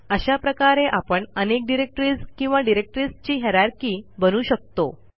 अशा प्रकारे आपण अनेक डिरेक्टरीज किंवा डिरेक्टरीजची हायररची बनवू शकतो